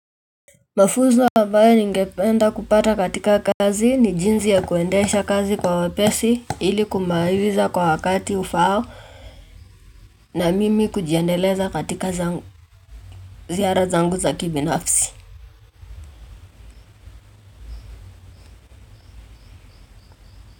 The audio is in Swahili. Mafunzo ambayo ningependa kupata katika kazi ni jinsi ya kuendesha kazi kwa wapesi ili kumaliza kwa wakati ufaao na mimi kujiendeleza katika zangu ziara zangu za kibi nafsi.